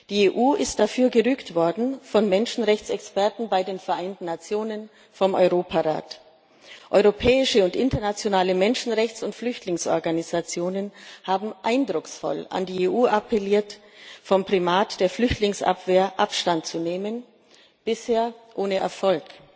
Die EU ist dafür gerügt worden von Menschenrechtsexperten bei den Vereinten Nationen, vom Europarat. Europäische und internationale Menschenrechts und Flüchtlingsorganisationen haben eindrucksvoll an die EU appelliert, vom Primat der Flüchtlingsabwehr Abstand zu nehmen bisher ohne Erfolg.